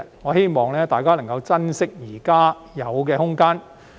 我希望大家能夠珍惜現有的空間。